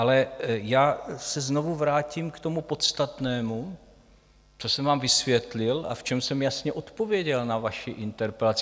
Ale já se znovu vrátím k tomu podstatnému, co jsem vám vysvětlil a v čem jsem jasně odpověděl na vaši interpelaci.